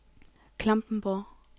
Klampenborg